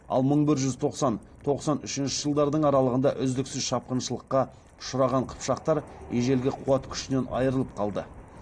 ал мың бір жүз тоқсан тоқсан үшінші жылдардың арасында үздіксіз шапқыншылыққа ұшыраған қыпшақтар ежелгі қуат күшінен айырылып қалды